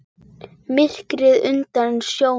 Myrkrið undir sjónum.